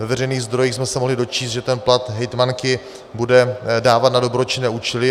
Ve veřejných zdrojích jsme se mohli dočíst, že ten plat hejtmanky bude dávat na dobročinné účely.